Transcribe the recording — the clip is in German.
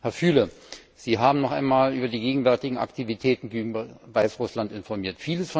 Herr Füle, Sie haben noch einmal über die gegenwärtigen Aktivitäten gegenüber Weißrussland informiert.